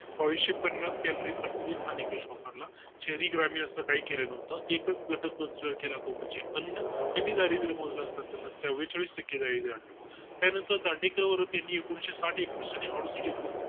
बाविसशे पन्नास calorie प्रतिदिन हा कार्यगट हा निकष वापरला शहरी ग्रामीण असा काही केल नव्हतं एकच गट consider केला तो म्हणजे अन्न त्यांनी दारिद्य मोजल्या त्या वेळी एकेचाळीस टक्के दारिद्य आणलं त्यानंतर दांडेकर यांनी एकूणशे साथ एकष्ठ आणि अडुसष्ट